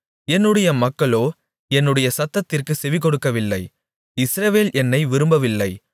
என்னுடைய மக்களோ என்னுடைய சத்தத்திற்குச் செவிகொடுக்கவில்லை இஸ்ரவேல் என்னை விரும்பவில்லை